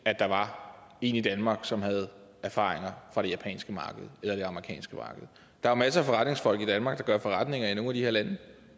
at der var en i danmark som havde erfaringer fra det japanske marked eller det amerikanske marked der er masser af forretningsfolk i danmark der gør forretninger i nogle de her lande